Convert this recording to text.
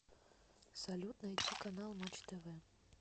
салют найти канал матч тв